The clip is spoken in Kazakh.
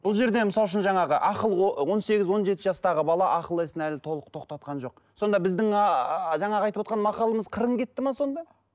бұл жерде мысалы үшін жаңағы ақыл он сегіз он жеті жастағы бала ақыл есін әлі толық тоқтатқан жоқ сонда біздің ааа жаңағы айтып отырған мақалымыз қырын кетті ме сонда